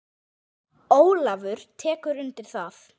Ólafur tekur undir það.